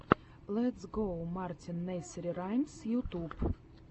летс гоу мартин несери раймс ютьюб